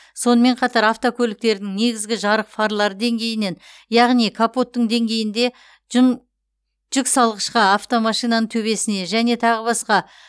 сонымен қатар автокөліктердің негізгі жарық фарлары деңгейінен яғни капоттың деңгейінде жүн жүксалғышқа автомашинаның төбесіне және тағы басқа